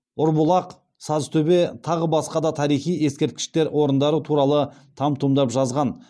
ұрбұлақ сазтөбе тағы басқа да тарихи ескерткіштер орындары туралы там тұмдап жазған